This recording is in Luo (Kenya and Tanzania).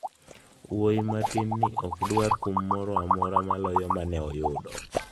Wuoyi matin ni ok dwaro kum moro amora maloyo mane oyudo.